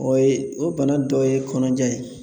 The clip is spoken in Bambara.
O ye o bana dɔ ye kɔnɔja ye